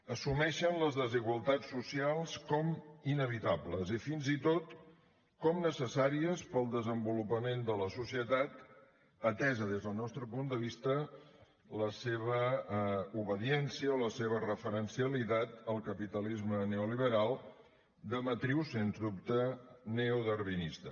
assumeixen les desigualtats socials com a inevitables i fins i tot com a necessàries per al desenvolupament de la societat atesa des del nostre punt de vista la seva obediència o la seva referencialitat al capitalisme neoliberal de matriu sens dubte neodarwinista